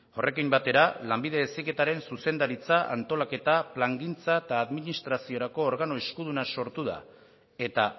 horrekin batera lanbide heziketaren zuzendaritza antolaketa plangintza eta administraziorako organo eskuduna sortu da eta